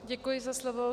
Děkuji za slovo.